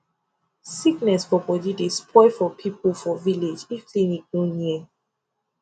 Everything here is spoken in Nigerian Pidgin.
sickness for body dey spoil for people for village if clinic no near